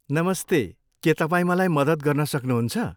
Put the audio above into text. नमस्ते, के तपाईँ मलाई मद्दत गर्न सक्नुहुन्छ?